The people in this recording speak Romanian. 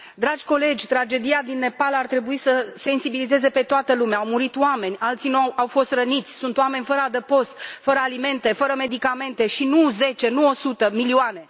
Dragi colegi, tragedia din Nepal ar trebui să sensibilizeze pe toată lumea au murit oameni, alții au fost răniți, sunt oameni fără adăpost, fără alimente, fără medicamente și nu zece, nu o sută, milioane.